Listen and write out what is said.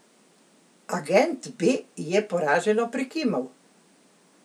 Agent B je poraženo prikimal.